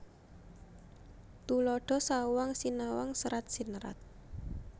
Tuladha sawang sinawang serat sinerat